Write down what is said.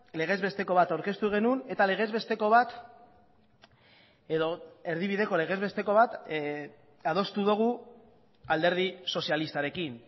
legez besteko bat aurkeztu genuen eta legez besteko bat edo erdibideko legez besteko bat adostu dugu alderdi sozialistarekin